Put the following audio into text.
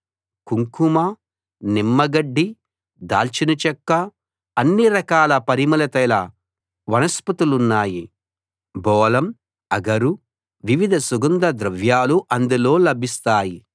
కుంకుమ నిమ్మగడ్డి దాల్చిన చెక్క అన్ని రకాల పరిమళతైల వనస్పతులున్నాయి బోళం అగరు వివిధ సుగంధ ద్రవ్యాలు అందులో లభిస్తాయి